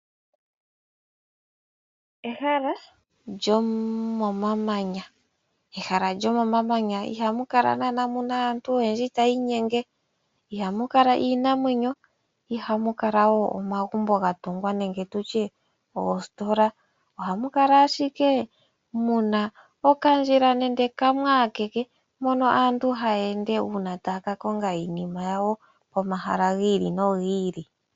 Ehala lyomomamanya , ihamukala nana aantu oyendji tayiinyenge, ihamukala iinamwenyo iha mukala woo omagumbo gatungwa nenge tutye oositola, ohamukala ashike muna okandjila kamwe akeke mono aantu hayeende ngele taa kakonga iinima yawo pomahala giili no giili.